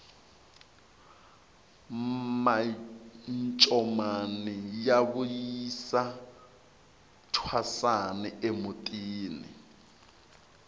mancomani ya vuyisa thwasani emutini